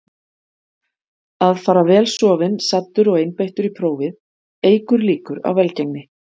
Að fara vel sofinn, saddur og einbeittur í prófið eykur líkur á velgengni.